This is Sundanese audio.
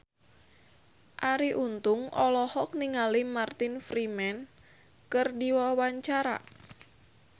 Arie Untung olohok ningali Martin Freeman keur diwawancara